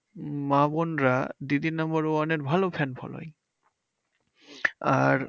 মা বোনরা দিদি নাম্বার ওয়ানের ভালো fan following. আর